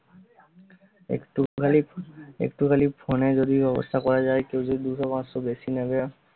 একটুখালি~ একটুখালি ফোনে যদি ব্যবস্থা করা যায় দুশো পাসশো বেশি নিবে